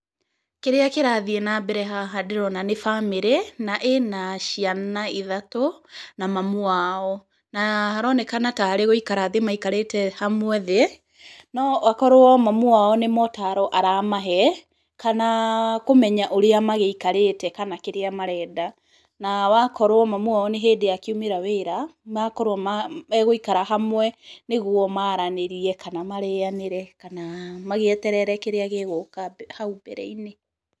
Kĩrĩa kĩrathiĩ na mbere haha ndĩrona nĩ bamĩrĩ, na ĩna ciana ithatũ, na mamu wao. Na haronekana tarĩ gũikara thĩ maikarĩte hamwe thĩ, no akorũo mamu wao nĩ motaro aramahe, kana kũmenya ũrĩa magĩikarĩte kana kĩrĩa marenda. Na wakorũo mamu wao nĩ hĩndĩ akiumĩra wĩra, makorũo ma, agũikara hamwe nĩguo maranĩrie, kana marĩanĩre, kana magĩeterere kĩrĩa gĩgũka hau mbere-inĩ.